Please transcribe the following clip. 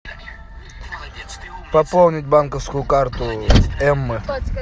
пополнить банковскую карту эммы